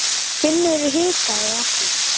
Finnur hikaði ekki.